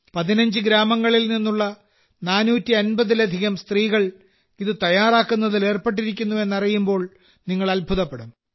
15 ഗ്രാമങ്ങളിൽ നിന്നുള്ള 450 ലധികം സ്ത്രീകൾ ഇത് തയ്യാറാക്കുന്നതിൽ ഏർപ്പെട്ടിരിക്കുന്നു എന്നറിയുമ്പോൾ നിങ്ങൾ അത്ഭുതപ്പെടും